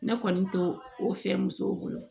Ne kɔni to o fiyɛ musow bolo